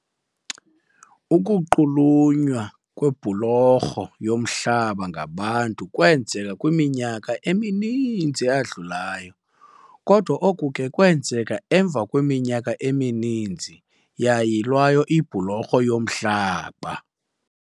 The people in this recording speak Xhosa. Ukunqunyulwa kwebhulorho yomhlaba ngabantu kwenzeka kwiminyaka emininzi eyadlulayo kodwa oku ke kwenzeka emva kweminyaka emininzi yayilwayo ibhulorho yomhlaba.